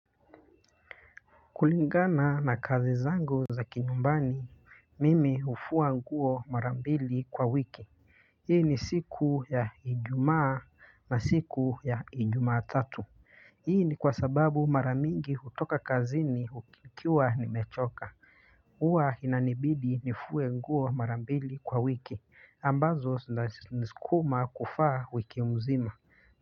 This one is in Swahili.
Kulingana na kazi zangu za kinyumbani, mimi hufua nguo marambili kwa wiki. Hii ni siku ya ijumaa na siku ya ijumaa tatu. Hii ni kwa sababu mara mingi hutoka kazini ukiwa ni mechoka. Huwa inanibidi nifue nguo mara mbili kwa wiki, ambazo zinaniskuma kuvaa wiki mzima.